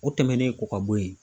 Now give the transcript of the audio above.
O tɛmɛnen kɔ ka bɔ yen.